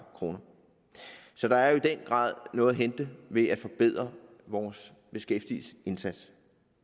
kroner så der er jo i den grad noget at hente ved at forbedre vores beskæftigelsesindsats